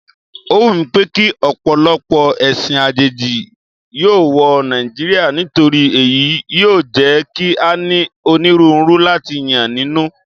Ó wùmí pékí ọ̀pọ̀lọpọ̀ ẹ̀sìn àjèjì yóò wọ Nàìjíríà nítorí èyí yóò jẹ́ kí a ní onírúurú láti yàn nínú.